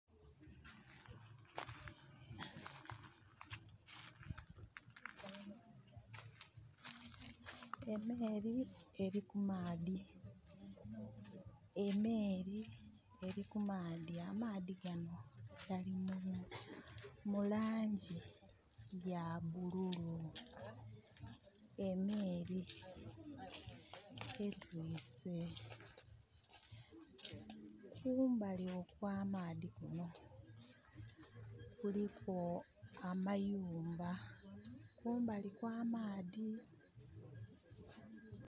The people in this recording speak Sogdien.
Emeeri eri kumaadhi. Emeeri eri kumaadhi. Amaadhi gano gali mulangi ya bululu. Emeeri etwise. Kumbali okwa maadhi kuno kuliku amayumba, kumbali kwa maadhi